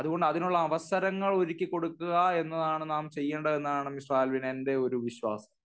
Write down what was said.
അതുകൊണ്ട് അതിനുള്ള അവസരങ്ങൾ ഒരുക്കികൊടുക്കുക എന്നതാണ് നാം ചെയ്യേണ്ടത് എന്നാണ് മിസ്റ്റർ ആൽവിൻ എന്റെ ഒരു വിശ്വാസം.